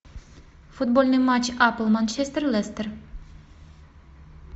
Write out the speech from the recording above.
футбольный матч апл манчестер лестер